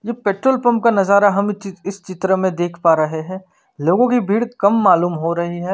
यह petrol pump का नजारा हमे चीज इस चित्र में देख पा रहे है लोगो कि भीड़ कम मालुम हो रही है।